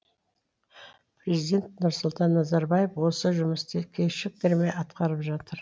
президент нұрсұлтан назарбаев осы жұмысты кешіктермей атқарып жатыр